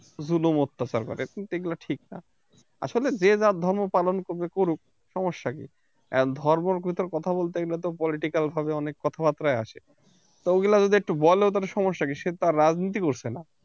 জুলুম অত্যাচার করে কিন্তু এইগুলো ঠিক না আসলে যে যার ধর্ম পালন করবে করুক সমস্যা কি? ধর্মের ভিতর কথা বলতে গেলে তো political ভাবে অনেক কথা্বারতাই আসে তো ওইগুলো যদি একটু বলে তো সমস্যা কি সে তো আর রাজনীতি করছে না